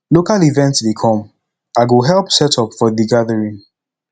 local event dey come i go help set up for de gathering